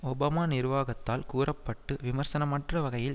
Obama நிர்வாகத்தால் கூற பட்டு விமர்சனமற்ற வகையில்